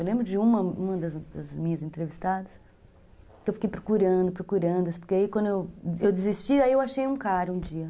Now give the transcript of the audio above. Eu lembro de uma uma das minhas entrevistadas, que eu fiquei procurando, procurando, porque aí quando eu desisti, aí eu achei um cara um dia.